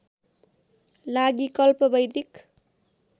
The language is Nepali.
लागि कल्प वैदिक